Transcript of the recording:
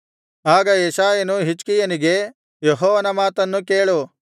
ಆಗ ಯೆಶಾಯನು ಹಿಜ್ಕೀಯನಿಗೆ ಯೆಹೋವನ ಮಾತನ್ನು ಕೇಳು